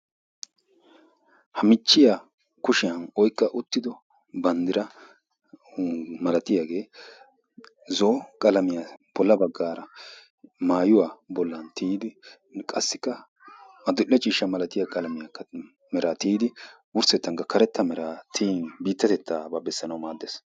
Ha michchiya kushiya oyqqa wottido banddira malatiyagee zo'o qalamiya bolla baggaara maayuwa bollan tiyidi qassikka adil"e ciishsha milatiya qalamiyakka gujji tiyidi wurssettan karetta meraa gujji tiyin biittatettaabaa bessanawu maad.